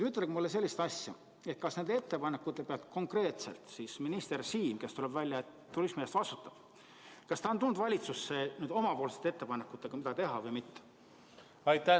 Ütelge mulle sellist asja: kas nende ettepanekute peale konkreetselt minister Siem, kes, tuleb välja, turismi eest vastutab, on tulnud valitsusse omapoolsete ettepanekutega, mida teha, või mitte?